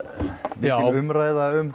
mikil umræða um